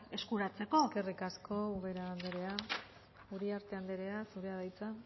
eskuratzeko eskerrik asko ubera anderea uriarte anderea zurea da hitza